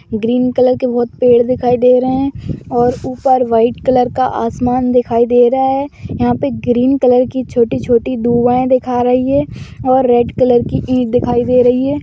Green colour के बहुत पेड़ दिखाई दे रहे हैं और ऊपर वाइट कलर का आसमान दिखाई दे रहा है | यहाँ पे ग्रीन कलर की छोटी छोटी दिखा रही है और रेड कलर की ईट दिखाई दे रही हैं।